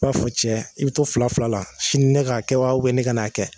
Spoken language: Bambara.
I b'a fɔ cɛ i bi to fila fila la sini ne k'a kɛ wa uben ne kan'a kɛ